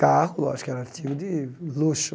Carro, lógico, era artigo de luxo.